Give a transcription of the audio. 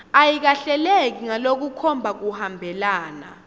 ayikahleleki ngalokukhomba kuhambelana